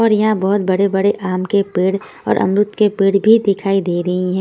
और यहां बहुत बड़े-बड़े आम के पेड़ और अमरूद के पेड़ भी दिखाई दे रहे हैं।